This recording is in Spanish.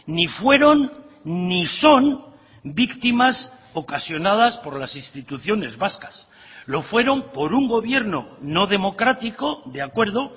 ni fueron ni son víctimas ocasionadas por las instituciones vascas lo fueron por un gobierno no democrático de acuerdo